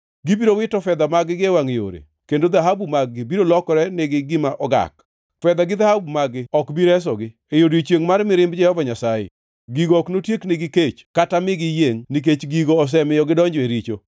“ ‘Gibiro wito fedha mag-gi e wangʼ yore, kendo dhahabu mag-gi biro lokore nigi gima ogak. Fedha gi dhahabu mag-gi ok bi resogi, e odiechiengʼ mar mirimb Jehova Nyasaye. Gigo ok notieknegi kech kata migi giyiengʼ, nikech gigo osemiyo gidonjo e richo.